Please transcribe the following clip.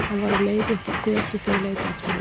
Hann var á leið upp á götu þegar ég leit aftur út.